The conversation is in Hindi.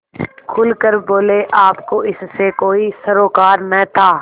खुल कर बोलेआपको इससे कोई सरोकार न था